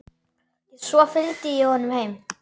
Svo fylgdi ég honum heim.